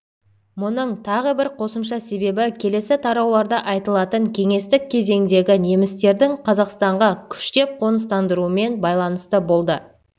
мұның тағы бір қосымша себебі келесі тарауларда айтылатын кеңестік кезеңдегі немістердің қазақстанға күштеп қоныстандыруымен байланысты болды